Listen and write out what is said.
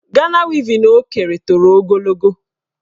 Gana wevin o kere toro ogologo.